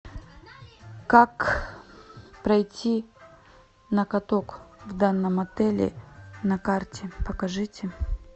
как пройти на каток в данном отеле на карте покажите